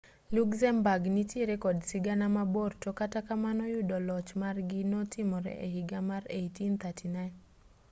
luxembourg nitiere kod sigana mabor to kata kamano yudo loch margi notimore e higa mar 1839